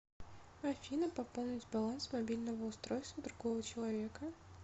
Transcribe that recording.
афина пополнить баланс мобильного устройства другого человека